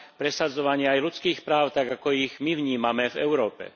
presadzovanie aj ľudských práv, tak ako ich my vnímame v Európe.